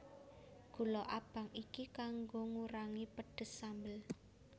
Gula abang iki kanggo ngurangi pedes sambel